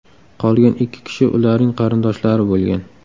Qolgan ikki kishi ularning qarindoshlari bo‘lgan.